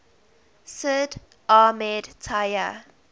sid ahmed taya